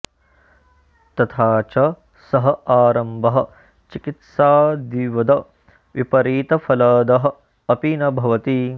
तथा च सः आरम्भः चिकित्सादिवद् विपरीतफलदः अपि न भवति